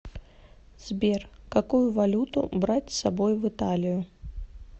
сбер какую валюту брать с собой в италию